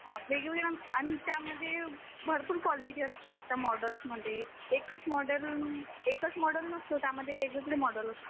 या अन त्यामध्ये भरपूर क्वालिटीज असतात त्या मॉडेलमध्ये, एकच मॉडेल एकच मॉडेल नसतं त्यामध्ये वेगवेगळे मॉडेल्स असतात.